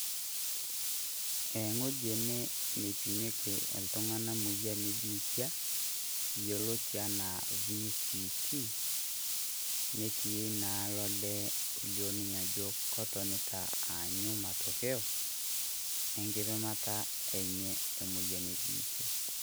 Ewoji ene nipimieki iltung'anak moyian e biitia yoloti a naa VCT, netii naa olee olio ninye ajo kototinita aanyu matokeo, enkipimata enye e biitia.